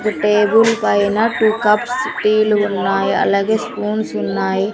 ఈ టేబుల్ పైన two cups టీ లు ఉన్నాయి అలాగే స్పూన్స్ ఉన్నాయి.